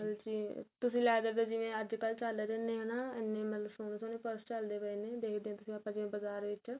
ਮਤਲਬ ਜੇ ਤੁਸੀਂ leather ਦੇ ਜੀਵਨ ਅੱਜਕਲ ਚੱਲ ਰਹੇ ਏ ਨਾ ਇੰਨੇ ਮਤਲਬ ਸੋਹਣੇ ਸੋਹਣੇ purse ਚੱਲਦੇ ਪਏ ਨੇ ਦੇਖਦੇ ਆ ਆਪਾਂ ਜਿਵੇਂ ਬਜਾਰ ਵਿੱਚ